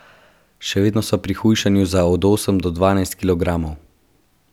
Še vedno sva pri hujšanju za od osem do dvanajst kilogramov!